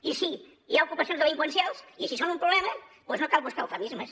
i sí hi ha ocupacions delinqüencials i si són un problema doncs no cal buscar eufemismes